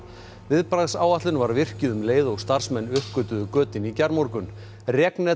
viðbragðsáætlun var virkjuð um leið og starfsmenn uppgötvuðu götin í gærmorgun